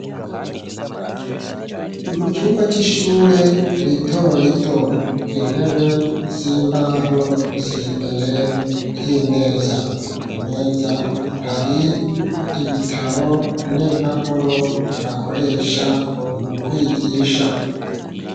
Mu cumba c'ishure rito rito, intebe z'imbaho, ziri imbere y'imeza; ku meza, hari ibitabo n'impapuro, bakoresha mu kwigisha.